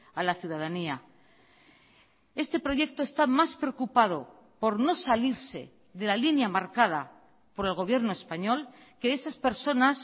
a la ciudadanía este proyecto está más preocupado por no salirse de la línea marcada por el gobierno español que esas personas